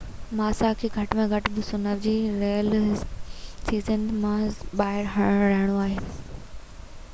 ماسا کي گهٽ ۾ گهٽ 2009 جو رهيل سيزن مان ٻاهر رهڻو آهي